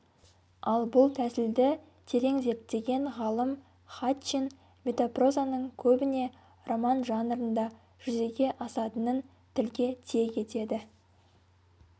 ал бұл тәсілді терең зерттеген ғалым хатчин метапрозаның көбіне роман жанрында жүзеге асатынын тілге тиек етеді